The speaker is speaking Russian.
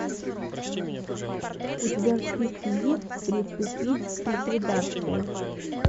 у тебя в списке есть приступить к ликвидации